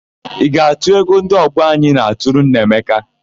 Ị ga-atụ ego ndị ọgbọ anyị na-atụrụ Nneamaka?